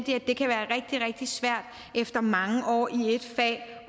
jeg rigtig svært efter mange år i et fag